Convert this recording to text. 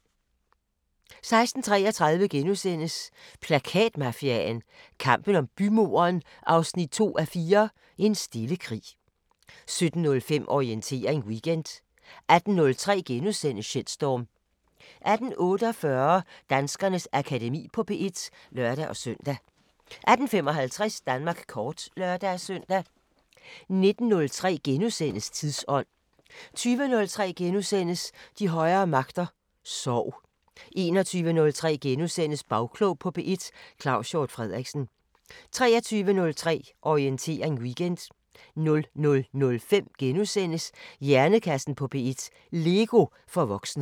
16:33: Plakatmafiaen – kampen om bymuren 2:4 – En stille krig * 17:05: Orientering Weekend 18:03: Shitstorm * 18:48: Danskernes Akademi på P1 (lør-søn) 18:55: Danmark kort (lør-søn) 19:03: Tidsånd * 20:03: De højere magter: Sorg * 21:03: Bagklog på P1: Claus Hjort Frederiksen * 23:03: Orientering Weekend 00:05: Hjernekassen på P1: LEGO for voksne *